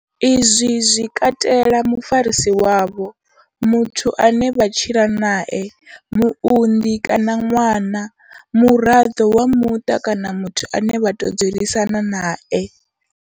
Izwi zwi katela mufarisi wavho, muthu ane vha tshila nae, muunḓi kana ṅwana, muraḓo wa muṱa kana muthu ane vha tou dzulisana nae.